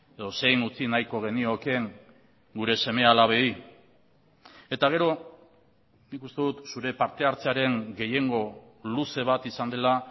edo zein utzi nahiko geniokeen gure seme alabei eta gero nik uste dut zure parte hartzearen gehiengo luze bat izan dela